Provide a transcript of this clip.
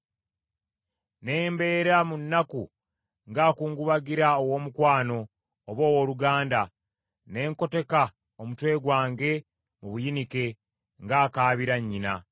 ne mbeera mu nnaku ng’ankungubagira ow’omukwano oba owooluganda nkoteka omutwe gwange mu buyinike ng’akaabira nnyina.